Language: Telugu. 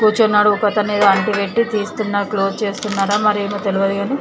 కూర్చునోడు ఒక్కతనేమో ఆంటీ పెట్టి తీసుకున్న క్లోజ్ చేస్తున్నారా మరేమో తెలువదు కానీ--